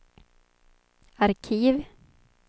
arkiv